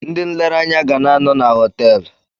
Ndị nlereanya ga na-anọ na họtelụ.